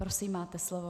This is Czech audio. Prosím, máte slovo.